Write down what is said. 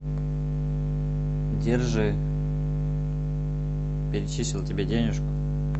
держи перечислил тебе денежку